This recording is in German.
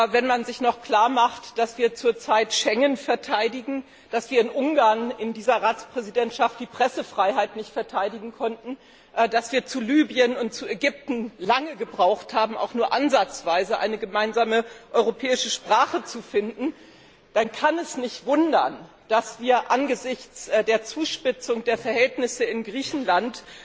Wenn man sich noch klar macht, dass wir zurzeit Schengen verteidigen, dass wir in Ungarn in dieser Ratspräsidentschaft die Pressefreiheit nicht verteidigen konnten, dass wir zu Libyen und zu Ägypten lange gebraucht haben, auch nur ansatzweise eine gemeinsame europäische Sprache zu finden, dann kann es nicht wundern, dass wir angesichts der Zuspitzung der Verhältnisse in Griechenland